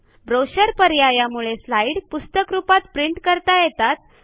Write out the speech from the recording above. brochure पर्यायामुळे slide पुस्तक रूपात प्रिंट करता येतात